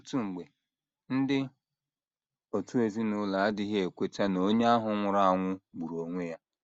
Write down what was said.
Ọtụtụ mgbe, ndị òtù ezinụlọ adịghị ekweta na onye ahụ nwụrụ anwụ gburu onwe ya.